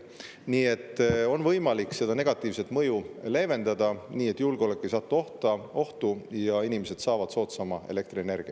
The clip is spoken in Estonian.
Nii et on võimalik seda negatiivset mõju leevendada nii, et julgeolek ei satu ohtu ja inimesed saavad soodsama elektrienergia.